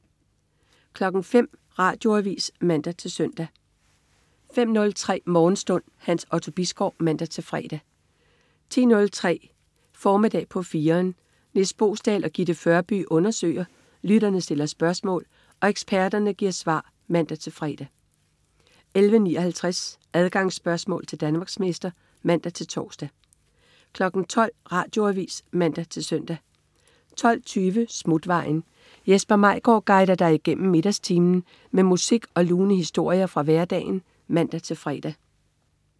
05.00 Radioavis (man-søn) 05.03 Morgenstund. Hans Otto Bisgaard (man-fre) 10.03 Formiddag på 4'eren. Nis Boesdal og Gitte Førby undersøger, lytterne stiller spørgsmål og eksperterne giver svar (man-fre) 11.59 Adgangsspørgsmål til Danmarksmester (man-tors) 12.00 Radioavis (man-søn) 12.20 Smutvejen. Jesper Maigaard guider dig igennem middagstimen med musik og lune historier fra hverdagen (man-fre)